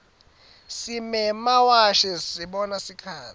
simemawashi sibona sikhatsi